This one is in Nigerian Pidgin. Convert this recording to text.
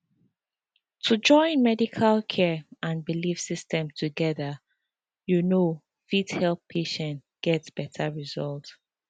to join medical care and belief systems together you know fit make patients get better result